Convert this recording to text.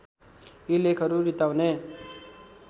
यी लेखहरू रित्ताउने